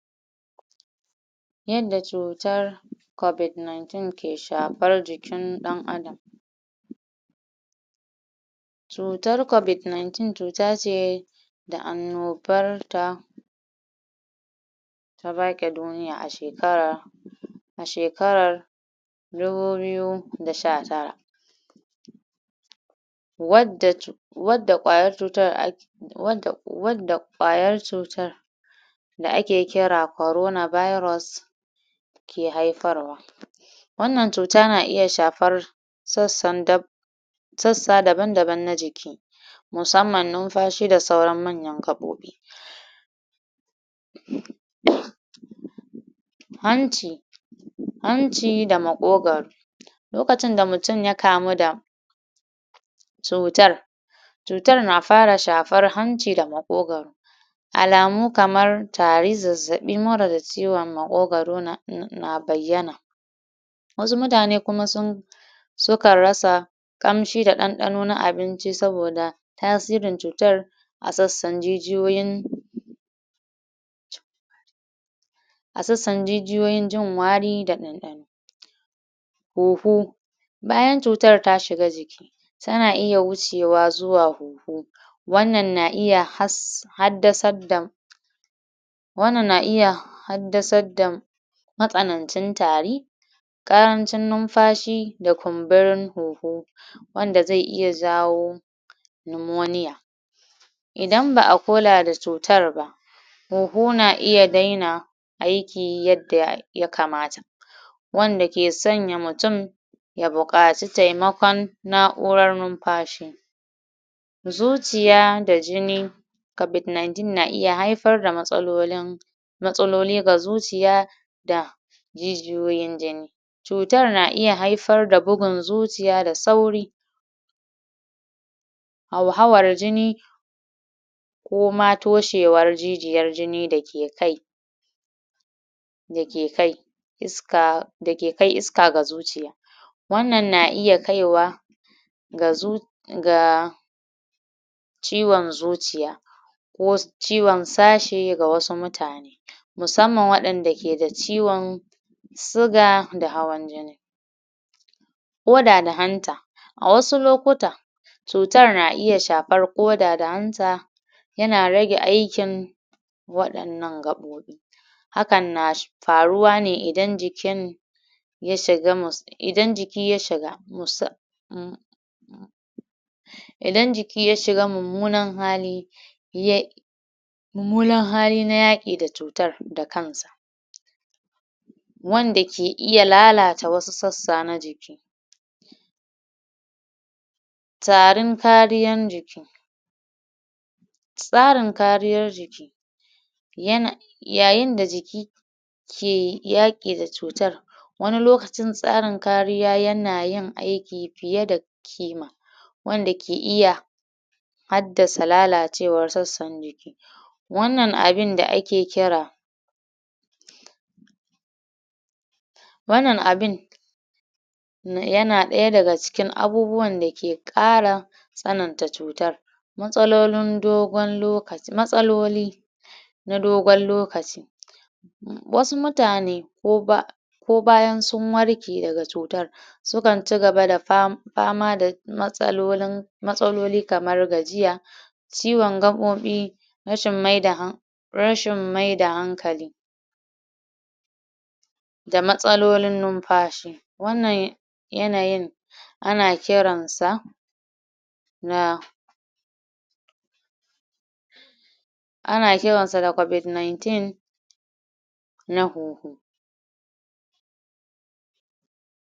yanda cutar covid niniteen ke shafar ikin dan adam ciutar covid ninteen cuta ce da annobar ta ta bake duniya a shakarar shekarar dubu biyu da shatara wanda cu wanda kwayar cuytar ak wanda wanda kwayar cutar da ake kira korona virus ke haifar wa wannan cuta na iya shafar sassan dabba sassa daban daban na jiki musamman numfashi da sauran manyan gabobi um ance hanci da makogoro lokacin da mutum yakamu da cutar cutar na fara shafar hanci da makogoro alamu kamar tari zazzabi mura da ciwon ma ma makogoro yana bayyana wasu mutane kuma sun sukan rasa kamshi da dandano na abinci saboda ta sirin cutar a sassan jijiyoyin a sassan jijiyoyin jin wari da kuma dandano huhu bayan cutar ta shiga jiki tana iya wucewa zuwa huhu wannan na iya has haddasar da wannan na iya haddasar da matsanancin tari karancin numfashi da kumburin huhu wanda ze iaya jawo nimoniya idan ba'a kula da cutar ba huhu na iya dena aiki yadda ya kamata wanda ke sanya mutum ya bukaci temakon na'uran numfa shi zuciya da jini covid ninteen na iya haifar da matsalolin matsaloli ga zuciya da jijiyoyin jini cutar na iya haifar da bugun zuciya da sauri hauhawar jini koma toshewar jijiyar jini dake kai da ke kai iska da ke kai iska ga zuciya wannan na iya kaiwa ga zuc ga ciwon zuciya ko ciwon sashi ga wasu mutane musamman wanda keda ciwon suga da hawan jini koda da hanta a wasu lokuta cutar na iya shafar koda da hanta yana rage aikin wadan nan gabobi hakan na faruwa ne idan jikin ya shiga mus idan jiki yashiga mus um idan ya jiki yashiga mummunan hali ya mummunan hali na yaki da cutar da kansa wanda ke iya lalata wasu sassa na jiki tarin kariyar jiki tsarin kariyar jiki yana yayin da jiki ke yaki da cutar wani lokacin tsarin kariya na yin aiki fiye da kima wanda ke iya haddasa lalacewar sassan jiki wannan abun da ake kira wannan abin yana daya daga cikin abubuwan da ke kara tsanan ta cutar matsalolin dogon lokaci matsaloli na dogon lokaci wasu nutane ko ba ko bayan sun warke daga cutar sukan cigaba da fama fama da matsalolin matsaloli kamar gaiya ciyon gabobi rashin maida han rashin maida hankali da matsalolin numfashi wannan yanayin ana kiransa na anakiransa da covid ninteen